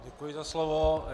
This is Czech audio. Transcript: Děkuji za slovo.